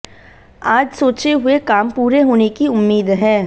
आज सोचे हुए काम पूरे होने की उम्मीद है